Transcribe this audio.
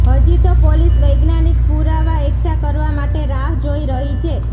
હજી તો પોલીસ વૈજ્ઞાનિક પુરાવા એકઠા કરવા માટે રાહ જોઇ રહી છે